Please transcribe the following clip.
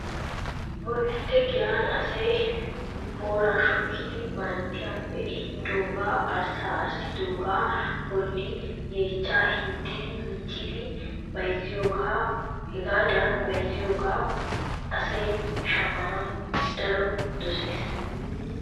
Bodditte giyaan asayi boora shukkidi baratiyaappe eehidooga arssa arssidoogaa bolli yechchaa hiixxidi miccidi bayizziyoogaa, Hagaadan bayizziyooga asayi shammanawu daroppe doses.